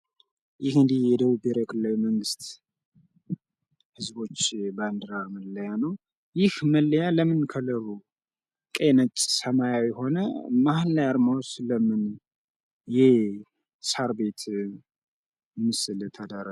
ይህ እንግዲህ የደቡብ ብሔራዊ ክልላዊ መንግሥት ህዝቦች ባንድራ መለያ ነው። ይህ መለያ ለምን ከደቡብ ቀይ ነጭ ሰማያዊ ሆነ? መሀል ላይ አርማውስ ለምን የሳር ቤት ምስል ተደረገ?